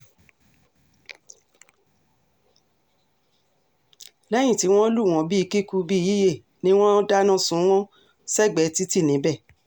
lẹ́yìn tí wọ́n lù wọ́n bíi kíkú bíi yíyẹ ni wọ́n dáná sun wọ́n sẹ́gbẹ̀ẹ́ títì níbẹ̀